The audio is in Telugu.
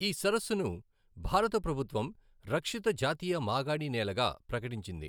ఈ సరస్సును భారత ప్రభుత్వం రక్షిత జాతీయ మాగాణినేలగా ప్రకటించింది.